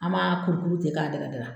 An m'a kurukuru ten k'a dada dada